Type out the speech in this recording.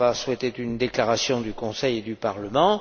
Fava souhaitait une déclaration du Conseil et du Parlement.